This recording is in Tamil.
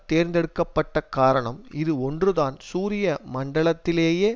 தேர்த்தெடுக்கப்பட்ட காரணம் இது ஒன்றுதான் சூரிய மண்டலத்திலேயே